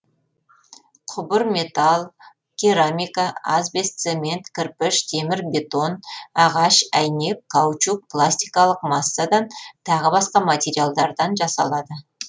құбыр металл керамика асбест цемент кірпіш темір бетон ағаш әйнек каучук пластикалық массадан тағы басқа материалдардан жасалады